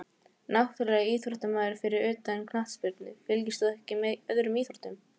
Náttúrulegur íþróttamaður Fyrir utan knattspyrnu, fylgist þú með öðrum íþróttum?